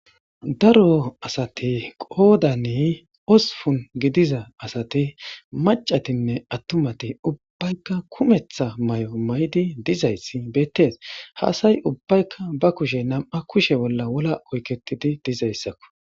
daro asati qoodani ospun gidiza asati macatinne attumati ubbaykka kumeththa may7o may7di dizayssi beettees haasay ubbaykka ba kushe nam7a kushe bolla wola oyketidi dizayssakko